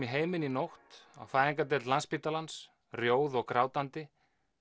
í heiminn í nótt á fæðingardeild Landspítalans rjóð og grátandi